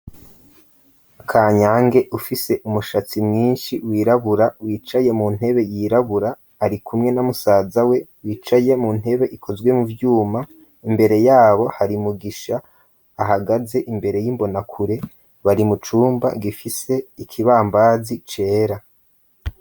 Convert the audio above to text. Kanyange ufise umushatsi mwinshi wirabura, wicaye mu ntebe yirabura, ari kumwe na musaza we, wicaye mu ntebe ikozwe mu vyuma, imbere yabo hari mugisha ahagaze imbere y'imbonakure, bari mucumba gifise ikibambazi cera.